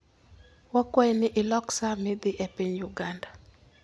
Wakwayi ni ilok sa midhi e piny Uganda